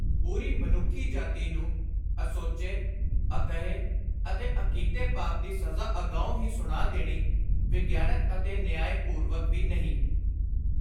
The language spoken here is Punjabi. ਪੂਰੀ ਮਨੁੱਖ ਜਾਤੀ ਨੂੰ ਅਸੋਚੇ, ਅਕਹੇ ਅਤੇ ਅਕੀਤੇ ਪਾਪ ਦੀ ਸਜ਼ਾ ਅਗਾਉਂ ਹੀ ਸੁਣਾ ਦੇਣੀ ਵਿਗਿਆਨਕ ਅਤੇ ਨਿਆਏ- ਪੂਰਵਕ ਵੀ ਨਹੀਂ।